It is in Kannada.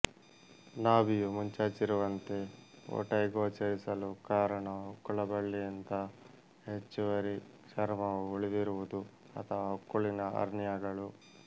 ನಾಭಿಯು ಮುಂಚಾಚಿರುವಂತೆಔಟೈ ಗೋಚರಿಸಲು ಕಾರಣ ಹೊಕ್ಕುಳಬಳ್ಳಿಯಿಂದ ಹೆಚ್ಚುವರಿ ಚರ್ಮವು ಉಳಿದಿರುವುದು ಅಥವಾ ಹೊಕ್ಕುಳಿನ ಹರ್ನಿಯಾಗಳು